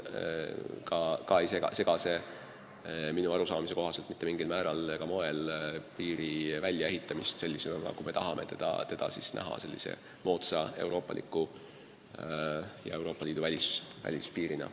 Ka ei sega see minu arusaamise kohaselt mitte mingil määral ega mitte mingil moel piiri väljaehitamist sellisena, nagu me tahame seda näha moodsa euroopaliku Euroopa Liidu välispiirina.